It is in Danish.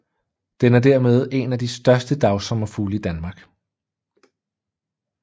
Den er dermed en af de største dagsommerfugle i Danmark